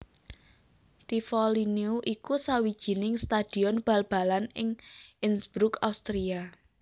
Tivoli Neu iku sawijining stadion bal balan ing Innsbruck Austria